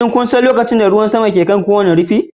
Shin kun san cewa lokacin da ruwan sama ke kan kowane rufin?